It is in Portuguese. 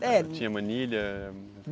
É. Tinha manilha?